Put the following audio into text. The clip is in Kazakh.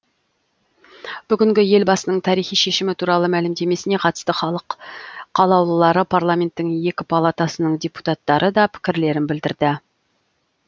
бүгінгі елбасының тарихи шешімі туралы мәлімдемесіне қатысты халық қалаулылары парламенттің екі палатасының депутаттары да пікірлерін білдірді